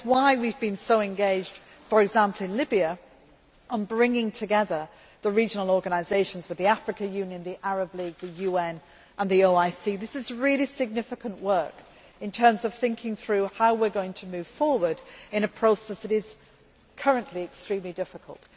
It is why we have been so engaged, for example in Libya, on bringing together the regional organisations the African Union, the Arab League, the UN and the OIC. This is really significant work in terms of thinking through how we are going to move forward in a process that it is currently extremely difficult.